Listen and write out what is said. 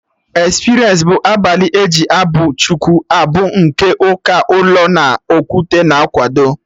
Experience bụ abalị eji abụ Chukwu abụ nke ndị ụka ụlọ no na Okwute na akwado